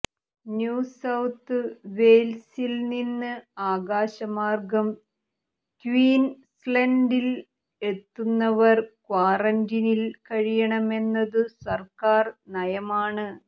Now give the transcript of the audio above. new south വെയ്ൽസിൽനിന്ന് ആകാശമാർഗം ക്വീൻസ്ലൻഡിൽ എത്തുന്നവർ ക്വാറന്റീനിൽ കഴിയണമെന്നതു സർക്കാർ നയമാണ്